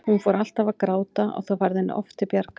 Hún fór alltaf að gráta og það varð henni oft til bjargar.